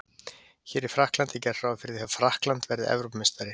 Hér í Frakklandi er gert ráð fyrir því að Frakkland verði Evrópumeistari.